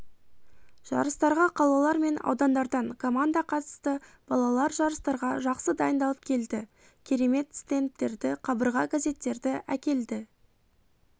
жарыстарға қалалар мен аудандардан команда қатысты балалар жарыстарға жақсы дайындалып келді керемет стендттерді қабырға газеттерді әкелді